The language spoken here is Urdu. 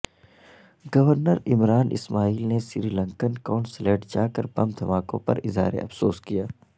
گورنرعمران اسماعیل نے سری لنکن قونصلیٹ جا کربم دھماکوں پراظہارافسوس کیا